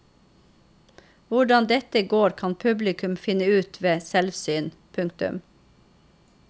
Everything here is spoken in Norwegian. Hvordan dette går kan publikum finne ut ved selvsyn. punktum